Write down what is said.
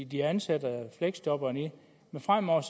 de ansætter fleksjobberne i men fremover